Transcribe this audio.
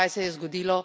In kaj se je zgodilo?